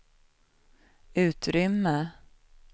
utrymme